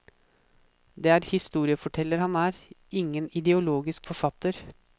Det er historieforteller han er, ingen ideologisk forfatter.